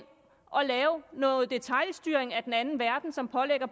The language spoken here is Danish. og lave noget detailstyring af den anden verden som pålægger